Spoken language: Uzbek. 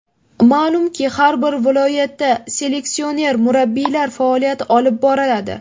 Ma’lumki, har bir viloyatda seleksioner-murabbiylar faoliyat olib boradi.